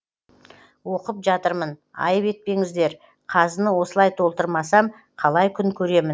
оқып жатырмын айып етпеңіздер қазыны осылай толтырмасам қалай күн көремін